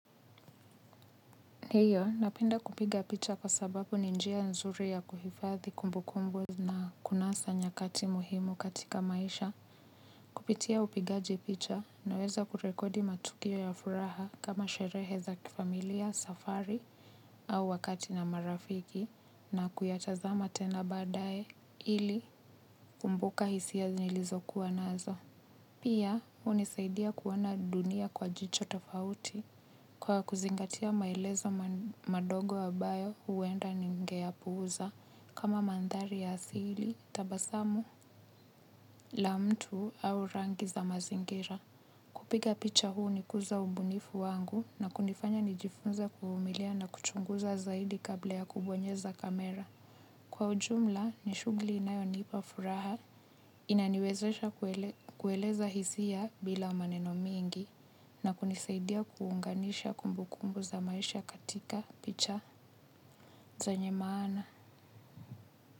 Hiyo napenda kupiga picha kwa sababu ni njia nzuri ya kuhifadhi kumbukumbu. Na kunasa nyakati muhimu katika maisha. Kupitia upigaji picha naweza kurekodi matukio ya furaha kama sherehe za kifamilia safari au wakati na marafiki na kuyatazama tena badae ili kumbuka hisia nilizo kuwa nazo. Pia, hunisaidia kuona dunia kwa jicho tofauti kwa kuzingatia maeleza madogo ambayo huwenda ningeyapuuza kama mandhari ya asili, tabasamu, la mtu au rangi za mazingira. Kupiga picha hunikuza ubunifu wangu na kunifanya nijifunza kuvumilia na kuchunguza zaidi kabla ya kubonyeza kamera. Kwa ujumla, ni shughuli inayonipa furaha inaniwezesha kueleza hisia bila maneno mingi na kunisaidia kuunganisha kumbukumbu za maisha katika picha zenye maana.